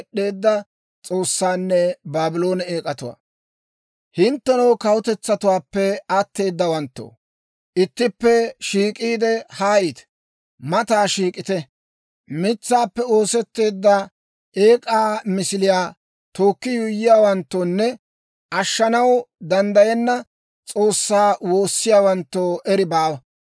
«Hinttenoo kawutetsatuwaappe atteedawanttoo, ittippe shiik'iide haayite; mataa shiik'ite. Mitsaappe oosetteedda eek'aa misiliyaa tookki yuuyyiyaawanttoonne, ashshanaw danddayenna s'oossaa woossiyaawanttoo eri baawa.